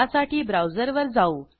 त्यासाठी ब्राऊजरवर जाऊ